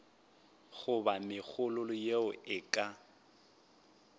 goba megololo yeo e ka